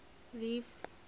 reef